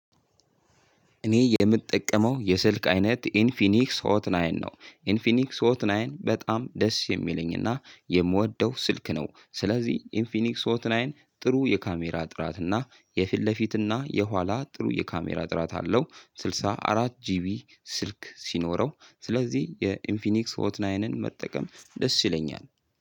እኔ የምጠቀመው የስልክ አይነት ኢንፊኒክስ ሆት ናይን ነው። ኢንፊኒክስ ሆት ናይን በጣም ደስ የሚለኝና የምወደው ስልክ ነው። ስለዚህ ኢንፊኒክስ ኦትናይን ጥሩ የካሜራ ጥራትና የፊት ለፊት እና የኋላ ጥሩ የካሜራ ጥራት አለው። ስልሳ አራት ጂቢ ስልክ ሲኖረው ስለዚህ የኢንፊኒክስ ሆትናይንን መጠቀም ደስ ይለኛል።